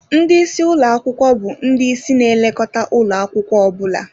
Ndị isi ụlọ akwụkwọ bụ ndị ịsị na-elekọta ụlọ akwụkwọ ọ bụla